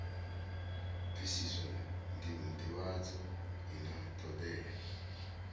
bvisiswa ndivhadzo i na thodea